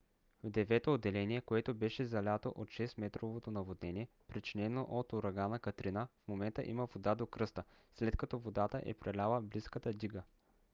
в девето отделение което беше залято от 6-метровото наводнение причинено от урагана катрина в момента има вода до кръста след като водата е преляла близката дига